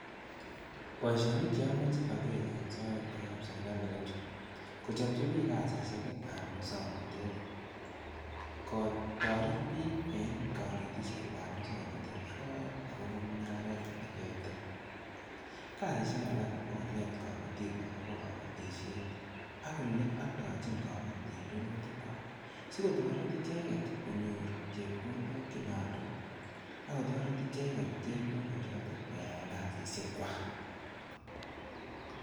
Boisionik che amache ageer en soet koyoop sirikali ko chu:kochopchi biik kasisiek ab muswoknatet, kotoret biik en konetisiet ab muswoknotet akobo mung'aret olekiyaitoi. Kasisiek alak ko koneet kabotiik akobo kabotisiet ak ole aldochin kabotiik rurutik kwak, sikotoret icheget konyor chepkondok che nyolu, akotoret icheget chepkondo chotok koyae kasisiekwa.